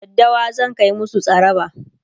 daddawa zan Kai musu tsaraba